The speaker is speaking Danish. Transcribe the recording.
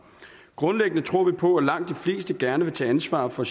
grundlæggende tror vi på at langt de fleste gerne vil tage ansvar for